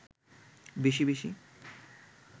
বেশি বেশি